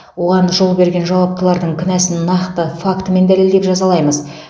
оған жол берген жауаптылардың кінәсін нақты фактімен дәлелдеп жазалаймыз